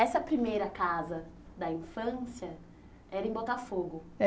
Essa primeira casa da infância era em Botafogo?